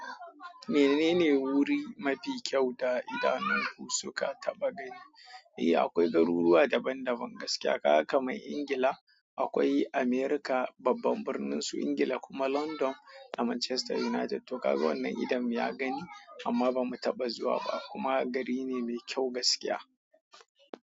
Menene wuri mafi kyau da idanunku suka taɓa gani? Eh, akwai garuruwa daban-daban gaskiya. Ka kamai Ingila, akwai Amurka, babban birnin su Ingila kuma London da Manchester United. To kaga wannan idon mu ya gani amma ba mu taɓa zuwa ba kuma gari ne mai kyau gaskiya.